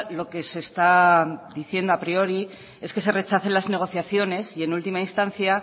lo que se está diciendo a priori es que se rechacen las negociaciones y en última instancia